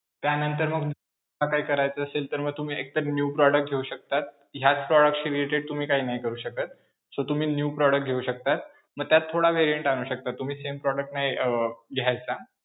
त्यानंतर मग काही करायचं असेल तर मग तुम्ही एक तर new product घेऊ शकता. ह्याच product related तुम्ही काही नाही करू शकत. so तुम्ही new product घेऊ शकता मग त्यात थोडा variant शकता तुम्ही same product नाही अं घ्यायचा.